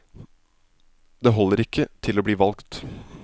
Det holder ikke til å bli valgt.